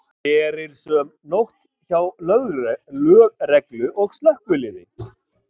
Erilsöm nótt hjá lögreglu og slökkviliði